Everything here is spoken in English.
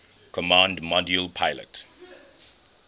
command module pilot